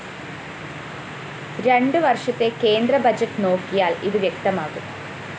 രണ്ട് വര്‍ഷത്തെ കേന്ദ്ര ബഡ്ജറ്റ്‌ നോക്കിയാല്‍ ഇത് വ്യക്തമാകും